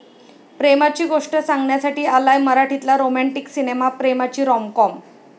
प्रेमाची गोष्ट सांगण्यासाठी आलाय मराठीतला रोमँटीक सिनेमा 'प्रेमाची रॉमकॉम'